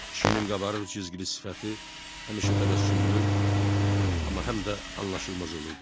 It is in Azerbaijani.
Kişinin qabarıq cizgili sifəti həmişə təbəssümlü, amma həm də anlaşılmaz olurdu.